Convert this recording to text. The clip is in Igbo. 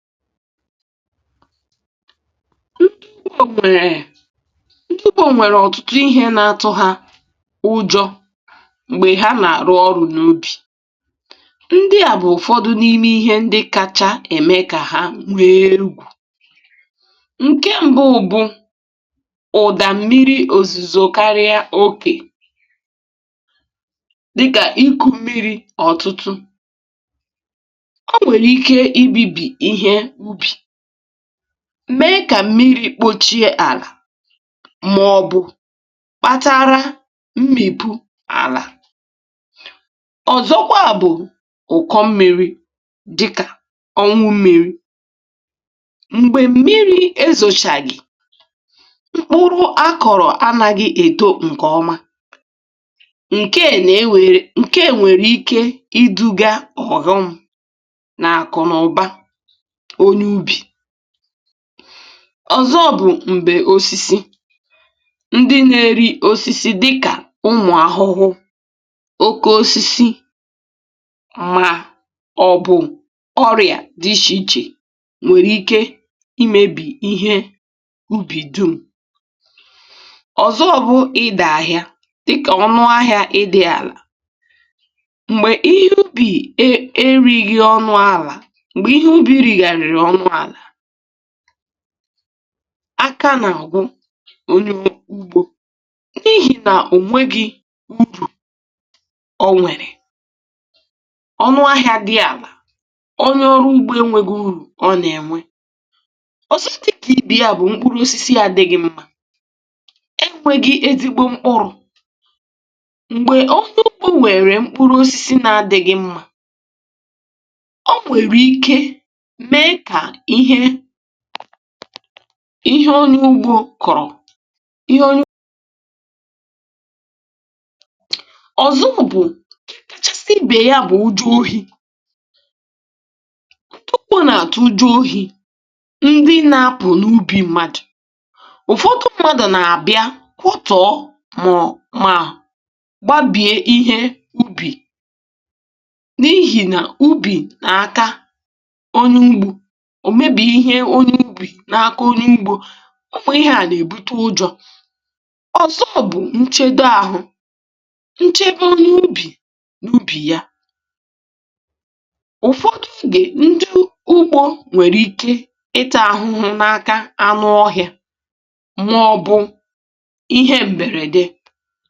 ǹtụtụ bụ̀, um nwèrè ntụpụ̀; nwèrè ọ̀tụtụ ihe na-atụ̇ ha ụjọ̇ m̀gbè ha nà-àrụ ọrụ̇ n’obi. ndị à bụ̀ ụ̀fọdụ n’ime ihe ndị kacha ème kà ha nwee ugwù. ǹke m̀bụ bụ̀ ụ̀dà mmiri òzìzò, eh karịa okè, dịkà iku mmiri ọ̀tụtụ, m mee kà mmiri kpochie àlà. mà ọ̀ bụ kpatara mmìpù àlà, ọ̀zọkwa bụ̀ ụ̀kọ mmiri̇, dịkà ọnwụ mmiri̇ m̀gbè mmiri̇ ezòchàgì mkpụrụ akọ̀rọ̀. anȧghị̇ èdo m̀kè ọma ǹke è, nà-ewèrè ǹke enwèrè ike iduga ọ̀ghọm. ọ̀zọ bụ̀ m̀gbè osisi ndị na-eri osisi, dịkà ụmụ̀ ahụhụ, um oke osisi, mà ọ̀ bụ̀ ọrịa dị iche iche, nwèrè ike imėbì ihe ubì dum. ọ̀zọ bụ̇ ịdà ahịa, dịkà ọnụ ahịȧ ịdị àlà m̀gbè ihe ubì e righị̇ ọnụ àlà. áká nà-àgwụ ó n’ihì nà ò nweghi urù. ọ nwèrè ọnụ ahịȧ dị alà, onye ọrụ ugbȯ enwėghi urù ọ nà-ènwe. o sotù dị kà ibi à, bụ̀ mkpụrụosisi ya dịghị̇ mma. e nwėghi̇ ezìgbo mkpụrụ̀, m̀gbè onye ọgbụ nwèrè mkpụrụosisi na-adị̇ghị̇ mma, ihe ọrịa ùgbò kọ̀rọ̀. ihe ọrịa ọ̀zọ bụ̀, eh kachasịbè ya bụ̀ uju ohi̇. ǹtụkpọ̇ nà-àtụ uju̇ ohi̇, ndị na-apụ̀ n’ubi mmadụ̀, ụ̀fọdụ mmadụ̀ nà-àbịa kwọtọ̀ mọ̀ mà gbaa bìe ihe ubì n’ihì nà ubì n’àka ò mebì ihe. onyė ubì n’aka onye igbò, ụmụ̀ ihe à nà-èbute ụjọ̇. ọ̀zọ bụ̀ nchedo àhụ, nchedo onye ubì n’ubì ya. ụ̀fọdụ m gè, um ndị ugbȯ nwèrè ike ịtọ̇ àhụhụ n’aka anụ ọhị̇ȧ màọbụ̇ ihe m̀bèrède.